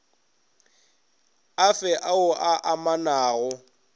a fe ao a amanago